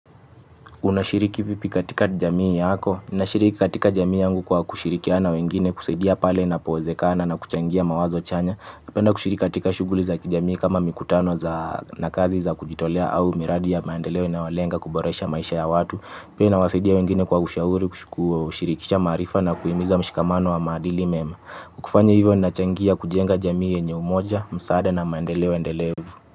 Unashiriki vipi katika jamii yako. Nashiriki katika jamii yangu kwa kushirikiana na wengine, kusaidia pale inapowezekana na kuchangia mawazo chanya. Napenda kushiriki katika shughuli za kijamii kama mikutano za na kazi za kujitolea au miradi ya maendeleo inayolenga kuboresha maisha ya watu. Pia nawasaidia wengine kwa ushauri, kushirikisha maarifa na kuhimiza mshikamano wa maadili mema. Kufanya hivyo ninachangia kujenga jamii yenye umoja, msaada na maendeleo endelevu.